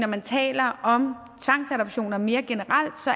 man taler om tvangsadoptioner mere generelt så